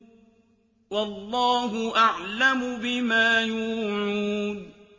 وَاللَّهُ أَعْلَمُ بِمَا يُوعُونَ